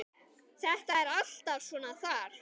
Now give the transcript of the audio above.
Þetta er alltaf svona þar.